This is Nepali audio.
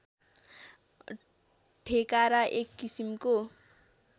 ठेकारा एक किसिमको